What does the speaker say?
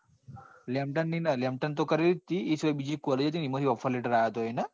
Lamton ની નાં lamton ની તો કરવી જ હતી એ સિવાય બીજી collage રયી ને એમાં થી offerlatter આવ્યો હતો.